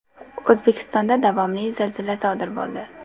O‘zbekistonda davomli zilzila sodir bo‘ldi.